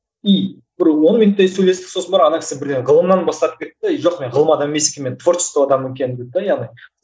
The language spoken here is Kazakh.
и бір он минуттай сөйлестік сосын барып ана кісі бір ғылымнан бастап кетті де и жоқ мен ғылым адамы емес екенмін мен творчество адамы екенмін дейді яғни